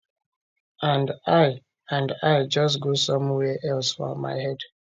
and i and i just go somewhere else for my head